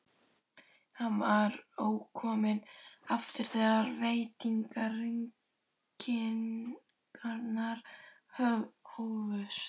Hann var ókominn aftur þegar vetrarrigningarnar hófust.